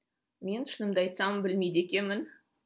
мен шынымды айтсам білмейді екенмін